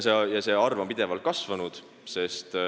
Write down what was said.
See arv on pidevalt kasvanud.